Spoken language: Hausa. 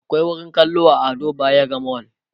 akwai wurin kallo a Ado bayero mall